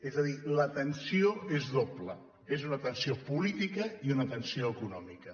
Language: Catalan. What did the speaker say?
és a dir la tensió és doble és una tensió política i una tensió econòmica